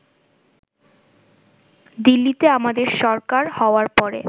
দিল্লিতে আমাদের সরকার হওয়ার পরে